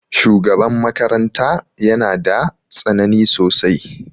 Shugaban makaranta ya na da tsanani sosai.